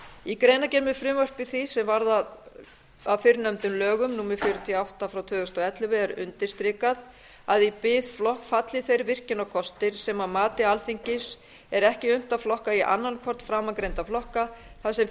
í greinargerð með frumvarpi því sem varð að fyrrnefndum lögum númer fjörutíu og átta tvö þúsund og ellefu er undirstrikað að í biðflokk falli þeir virkjunarkostir sem að mati alþingis er ekki unnt að flokka í annanhvorn framangreindra flokka þar sem